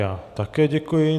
Já také děkuji.